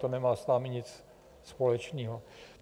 To nemá s vámi nic společného.